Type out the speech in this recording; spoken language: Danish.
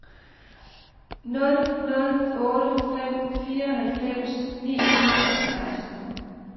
nul nul otte fem fireoghalvfems ni hundrede og seksten